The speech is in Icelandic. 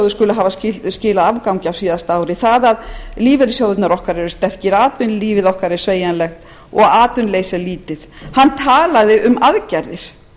skuli hafa skilað afgangi á síðasta ári það að lífeyrissjóðirnir okkar eru sterkir atvinnulífið okkar er sveigjanlegt og atvinnuleysi er lítið hann talaði um aðgerðir